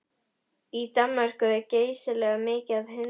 Í Danmörku er geysilega mikið af hundum.